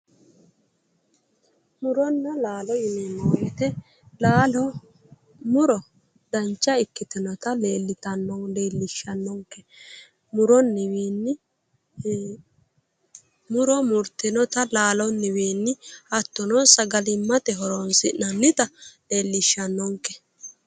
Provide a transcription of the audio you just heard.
Muronna laalo yineemmo woyte laalo muro dancha ikkitinota leellishshannonke muronni wiinni muro murtinota laalonniwiinni hattono sagalimmate horoonsi'nannita leellishshannonke